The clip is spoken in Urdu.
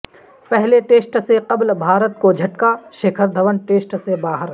پہلے ٹیسٹ سے قبل بھارت کوجھٹکا شیکھر دھون ٹیسٹ سے باہر